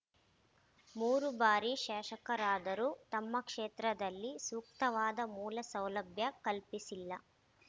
ಮೂರು ಬಾರಿ ಶಾಸಕರಾದರೂ ತಮ್ಮ ಕ್ಷೇತ್ರದಲ್ಲಿ ಸೂಕ್ತವಾದ ಮೂಲಸೌಲಭ್ಯ ಕಲ್ಪಿಸಿಲ್ಲ